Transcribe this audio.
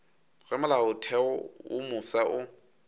ge molaotheo wo mofsa o